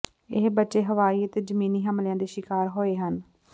ਇਹ ਬੱਚੇ ਹਵਾਈ ਅਤੇ ਜ਼ਮੀਨੀ ਹਮਲਿਆਂ ਦੇ ਸ਼ਿਕਾਰ ਹੋਏ ਹਨ